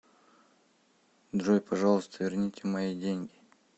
джой пожалуйста верните мои деньги